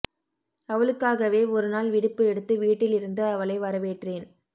அவளுக்காகவே ஒரு நாள் விடுப்பு எடுத்து வீட்டில் இருந்து அவளை வரவேற்றேன்